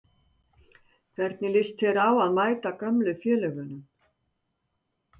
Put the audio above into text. Hvernig lýst þér á að mæta gömlu félögunum?